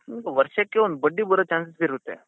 ವರ್ಷಕ್ಕೆ ಒಂದ್ ಬಡ್ಡಿ ಬರೊ chances ಇರುತ್ತೆ.